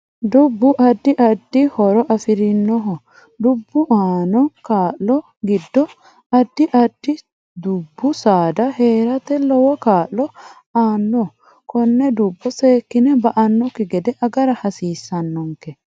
Dubbu addi addi horo afirinoho dubbu aano kaa'lo giddo addi additidubbu saada heerate lowo kaa'lo aanno konne dubbo seekine ba'anokki gede agara hasiissnonoke